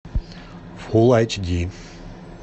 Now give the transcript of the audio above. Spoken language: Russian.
фул айч ди